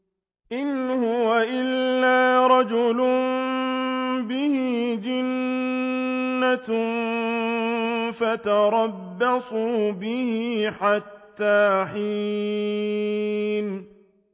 إِنْ هُوَ إِلَّا رَجُلٌ بِهِ جِنَّةٌ فَتَرَبَّصُوا بِهِ حَتَّىٰ حِينٍ